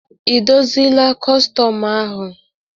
Ị dozila kọstọm ahụ?